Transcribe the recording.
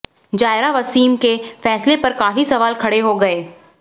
जायरा वसीम के फैसले पर काफी सवाल खड़े हो गए